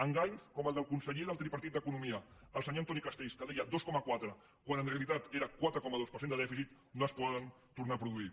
enganys com el del conseller del tripartit d’economia el senyor antoni castells que deia dos coma quatre quan en realitat era quatre coma dos per cent de dèficit no es poden tornar a produir